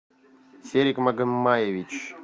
серик магомаевич